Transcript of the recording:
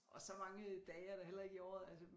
Og så mange dage er der heller ikke i året altså